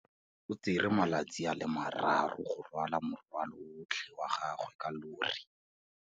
O tsere malatsi a le marraro go rwala morwalo otlhe wa gagwe ka llori.